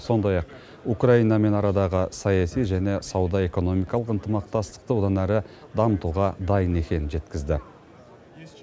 сондай ақ украинамен арадағы саяси және сауда экономикалық ынтымақтастықты одан әрі дамытуға дайын екенін жеткізді